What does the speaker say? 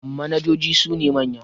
manojoji sune manya